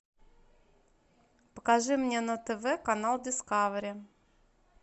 покажи мне на тв канал дискавери